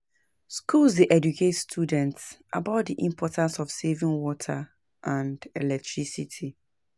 Schools dey educate students about the importance of saving water and electricity.